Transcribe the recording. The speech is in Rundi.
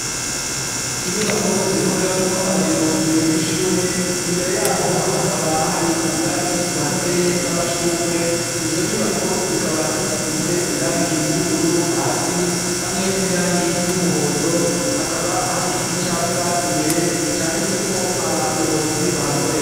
Inyubako zikoreramwo abayobozi b'ishure, imbere yaho hakaba hari ubwatsi buhateye n'amashugwe izonyubako zikaba zisize irangi ry'ubururu hasi hamwe nirangi ry'umuhondo hakaba hari icapa imbere canditseko abayobozi bahakorera.